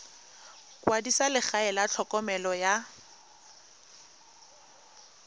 kwadisa legae la tlhokomelo ya